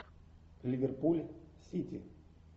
ливерпуль сити